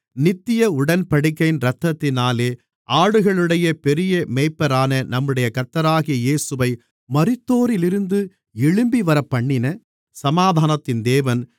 நித்திய உடன்படிக்கையின் இரத்தத்தினாலே ஆடுகளுடைய பெரிய மேய்ப்பரான நம்முடைய கர்த்தராகிய இயேசுவை மரித்தோரிலிருந்து எழும்பிவரப்பண்ணின சமாதானத்தின் தேவன்